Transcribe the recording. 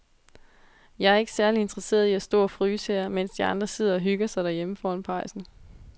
Jeg er ikke særlig interesseret i at stå og fryse her, mens de andre sidder og hygger sig derhjemme foran pejsen.